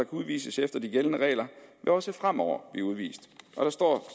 udvises efter de gældende regler vil også fremover blive udvist der står